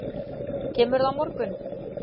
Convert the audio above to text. Kemurðu á morgun?